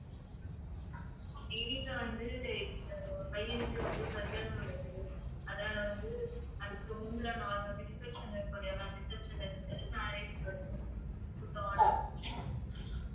எங்க வீட்ல வந்து அஹ் பையனுக்கு வந்து கல்யாணம் நடக்குது அதால வந்து அதுக்கு முந்தின நாள் வந்து reception இருக்கும் இல்லையா ma'am reception marriage